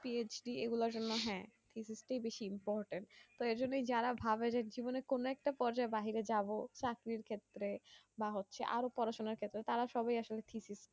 PHD এগুলা তোমার হ্যাঁ এগুলোই বেশি important তো এইজন্যে যারা ভাবে যে জীবনে কোনো একটা পর্যায়ের বাইরে যাবো চাকির ক্ষেত্রে বা আরো পড়াশোনার তারা সবাই আসলে physics